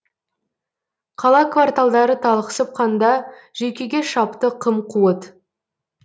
қала кварталдары талықсып қанда жүйкеге шапты қым қуыт